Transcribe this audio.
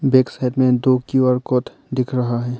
Back side में दो Q R code दिख रहा है।